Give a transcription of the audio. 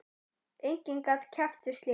Enginn gat keppt við slíkt.